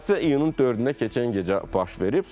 Hadisə iyunun 4-də keçən gecə baş verib.